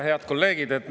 Head kolleegid!